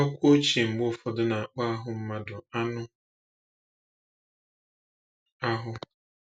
Akwụkwọ ochie mgbe ụfọdụ na-akpọ ahụ mmadụ “anụ ahụ.”